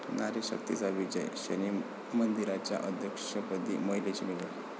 नारी शक्तीचा विजय, शनी मंदिराच्या अध्यक्षपदी महिलेची निवड